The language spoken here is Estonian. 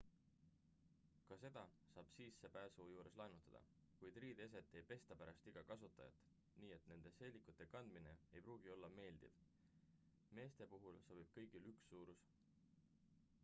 ka seda saab sissepääsu juures laenutada kuid riideeset ei pesta pärast igat kasutajat nii et nende seelikute kandmine ei pruugi olla meeldiv meeste puhul sobib kõigile üks suurus